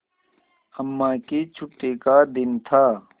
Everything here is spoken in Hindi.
अम्मा की छुट्टी का दिन था